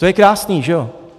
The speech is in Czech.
To je krásný, že jo?